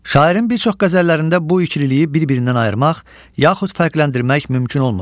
Şairin bir çox qəzəllərində bu ikriliyi bir-birindən ayırmaq, yaxud fərqləndirmək mümkün olmur.